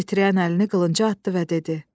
Titrəyən əlini qılınca atdı və dedi: